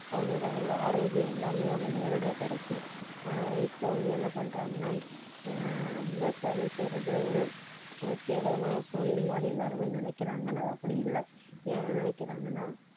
அவங்களுக்கு அதில உள்ள ஆரோக்கியம் எல்லாமே அவங்களுக்கு நேரடியா கிடைச்சுது. ஆனா இப்ப வந்து என்ன பண்றாங்கன்னா ஆஹ் விவசாயம் செய்யறது ஒரு ஒரு கேவலமான ஒரு தொழில் மாதிரி எல்லாருமே நினைக்கிறாங்க ஆனா அது அப்படி இல்ல ஏன் நினைக்கிறாங்கன்னா